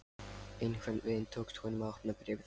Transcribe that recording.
Einhvern veginn tókst honum að opna bréfið.